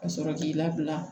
Ka sɔrɔ k'i labila